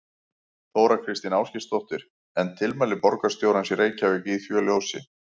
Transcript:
Þóra Kristín Ásgeirsdóttir: En tilmæli borgarstjórans í Reykjavík í því ljósi?